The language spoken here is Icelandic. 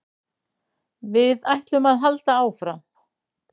Við ætlum að halda áfram